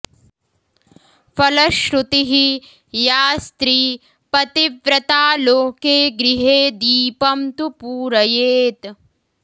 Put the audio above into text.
फलश्रुतिः या स्त्री पतिव्रता लोके गृहे दीपं तु पूरयेत्